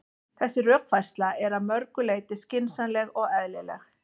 Þessi rökfærsla er að mörgu leyti skynsamleg og eðlileg.